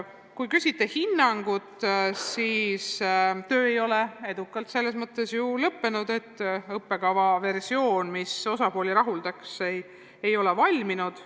Kui te küsite hinnangut, siis töö ei ole selles mõttes edukalt lõppenud, et õppekava niisugune versioon, mis kõiki osapooli rahuldaks, ei ole valminud.